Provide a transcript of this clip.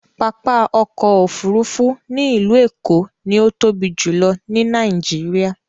Pápá ọkọ̀ òfurufú ni ilu Eko ni o tobi julọ ni Nàìjíríà